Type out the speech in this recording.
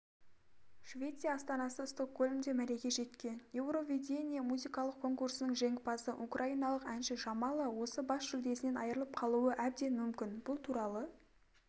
швеция астанасы стокгольмде мәреге жеткен еуровидение музыкалық конкурсының жеңімпазы украиналық әнші жамала осы бас жүлдесінен айрылып қалуы әбден мүмкін бұл туралы